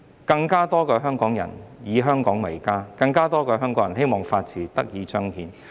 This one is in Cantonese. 希望有更多香港人以香港為家，更多香港人希望法治得以彰顯。